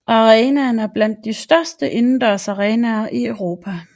Arenaen er blandt de største indendørsarenaer i Europa